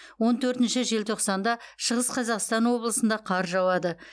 он төртінші желтоқсанда шығыс қазақстан облысында қар жауады